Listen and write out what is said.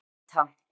Aníta